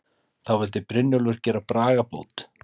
Þá vildi Brynjólfur gera bragabót.